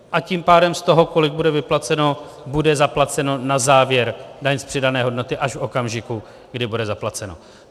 A tím pádem z toho, kolik bude vyplaceno, bude zaplaceno na závěr, daň z přidané hodnoty, až v okamžiku, kdy bude zaplaceno.